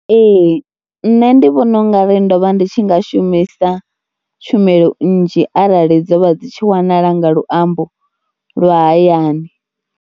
Ee nṋe ndi vhona u nga ri ndo vha ndi tshi nga shumisa tshumelo nnzhi arali dzo vha dzi tshi wanala nga luambo lwa hayani.